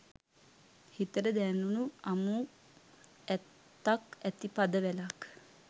හිතට දැනුනුඅමු ඇත්තක් ඇති පද වැලක්